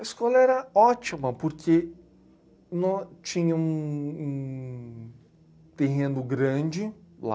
A escola era ótima, porque nó, tinha um... um terreno grande lá,